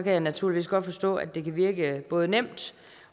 jeg naturligvis godt forstå at det kan virke både nemt